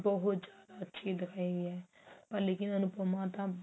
ਬਹੁਤ ਜਿਆਦਾ ਅੱਛੀ ਦਿਖਾਈ ਗਈ ਹੈ ਪਰ ਲੇਕਿਨ ਅਨੁਪਮਾ ਤਾਂ